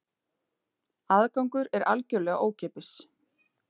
Aðgangur er algjörlega ókeypis